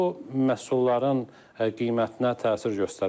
Bu məhsulların qiymətinə təsir göstərə bilər.